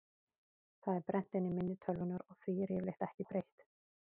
Það er brennt inn í minni tölvunnar og því er yfirleitt ekki breytt.